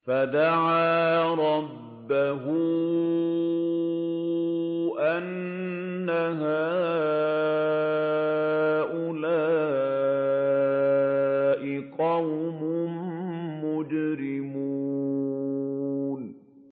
فَدَعَا رَبَّهُ أَنَّ هَٰؤُلَاءِ قَوْمٌ مُّجْرِمُونَ